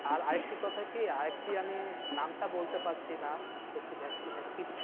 আরেকটি কথা কি আরেকটি আমি নামটা বলতে পারছিনা। একটু vaccine না কি